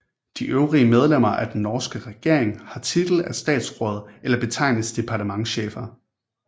De øvrige medlemmer af den norske regering har titel af statsråd eller betegnes departementschefer